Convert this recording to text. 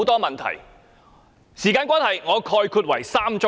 由於時間關係，我概括為3宗罪。